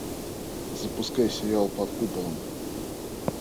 запускай сериал под куполом